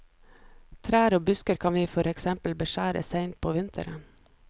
Trær og busker kan vi for eksempel beskjære seint på vinteren.